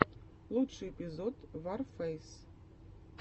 лучший эпизод варфэйс